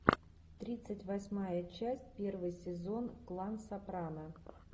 тридцать восьмая часть первый сезон клан сопрано